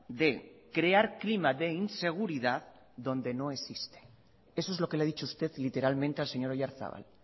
de crear clima de inseguridad donde no existe eso es lo que le ha dicho usted literalmente al señor oyarzabal